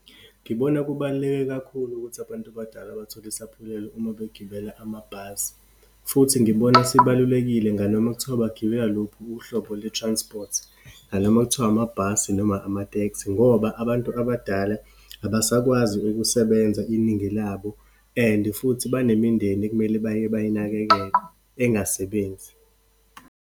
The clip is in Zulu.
Ngibona kubaluleke kakhulu ukuthi abantu abadala bathole isaphulelo uma begibela amabhasi. Futhi ngibona sibalulekile nganoma kuthiwa bagibela lokhu uhlobo lwe-transport, nanoma kuthiwa amabhasi, noma amatekisi ngoba abantu abadala abasakwazi ukusebenza iningi labo, and futhi banemindeni ekumele baye bayinakekele, engasebenzi.